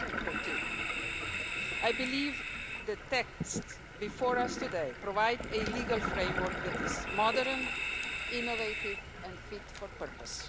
2014. I believe the text before us today provides a legal framework that is modern, innovative and fit for purpose.